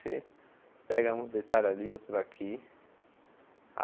Você pega uns detalhes ali, outros aqui.